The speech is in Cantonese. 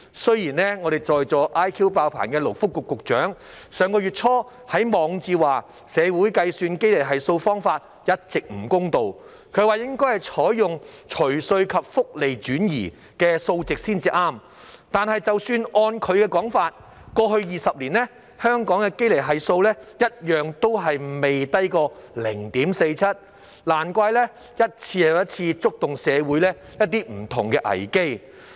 雖然我們在席 IQ" 爆棚"的勞工及福利局局長上月初在其網誌提到，社會計算堅尼系數方法一直不公道，應該採用"除稅及福利轉移後"的數值才正確，但是即使按其說法，過去20年，香港的堅尼系數一樣都未低過 0.47， 難怪一次又一次觸發不同的社會危機。